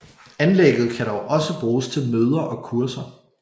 Anlægget kan dog også bruges til møder og kurser